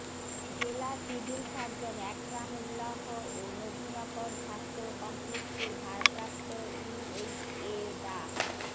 জেলা civil surgeon Ekram Ullah ও নবীনগর স্বাস্থ্য কমপ্লেক্সের ভারপ্রাপ্ত ইউএইচএ ডা